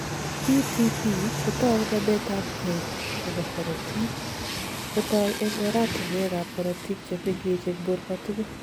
TTP kotou nametab gee nebo korotik kotoi eng' oratinwekab korotik chemengech eng' borto tugul.